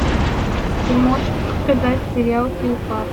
ты можешь показать сериал филфак